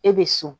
E bɛ so